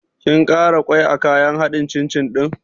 Kin ƙara ƙwai a kayan haɗin cin cin ɗin?